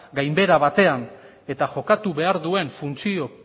gainbehera baten eta jokatu behar duen funtzio